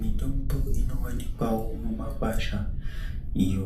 Mitombo inovanikwavo mumakwasha iyo